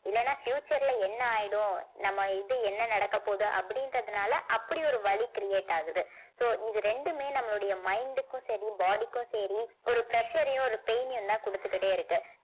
இல்லைன்னா future ல என்ன ஆயிடும் நம்ம இது என்ன நடக்கப் போகுது அப்படின்றதுனால அப்படி ஒரு வலி create ஆகுது so இது ரெண்டுமே நம்மளுடைய mind க்கும் சரி body க்கும் சரி ஒரு pressure ஐயும் ஒரு pain ஐயும்தான் கொடுத்துக்கிட்டே இருக்கு